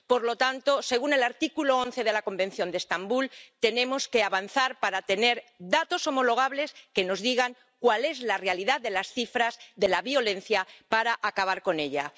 Por lo tanto, según el artículo 11 del Convenio de Estambul, tenemos que avanzar para tener datos homologables que nos digan cuál es la realidad de las cifras de la violencia, para acabar con ella.